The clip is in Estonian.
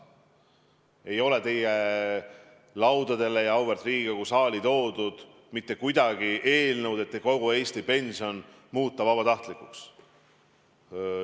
Ei ole teie laudadele ja auväärt Riigikogu saali toodud mitte ühtki eelnõu, et kogu Eesti pension muuta vabatahtlikuks.